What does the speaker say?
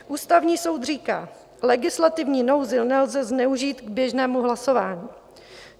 Ústavní soud říká: legislativní nouzi nelze zneužít k běžnému hlasování.